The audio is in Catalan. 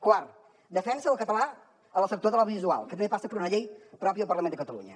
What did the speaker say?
quart defensa del català en el sector de l’audiovisual que també passa per una llei pròpia al parlament de catalunya